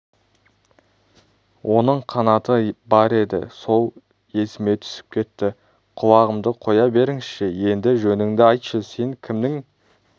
оның қанаты бар еді сол есіме түсіп кетті құлағымды қоя беріңізші енді жөніңді айтшы сен кімнің